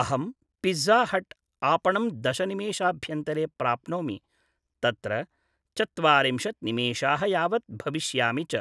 अहंं Pizza Hut आपणं दशनिमेषाभ्यन्तरे प्राप्नोमि, तत्र चत्वारिंशत्‌ निमेषाः यावत् भविष्यामि च,